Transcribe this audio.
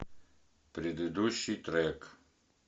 предыдущий трек